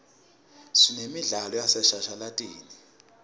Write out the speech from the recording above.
sinemidlalo yaseshashalatini